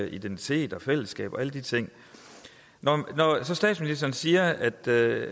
identitet fællesskab og alle de ting når statsministeren siger at det